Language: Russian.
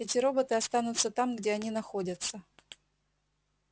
эти роботы останутся там где они находятся